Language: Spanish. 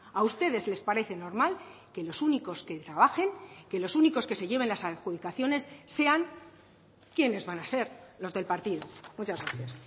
a ustedes les parece normal que los únicos que trabajen que los únicos que se lleven las adjudicaciones sean quiénes van a ser los del partido muchas gracias